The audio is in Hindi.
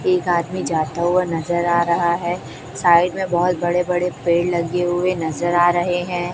एक आदमी जाता हुआ नजर आ रहा है साइड में बहुत बड़े बड़े पेड़ लगे हुए नजर आ रहे हैं।